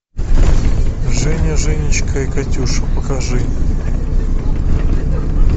женя женечка и катюша покажи